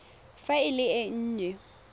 fa e le e nnye